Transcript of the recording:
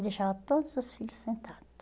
Ele deixava todos os filhos sentado.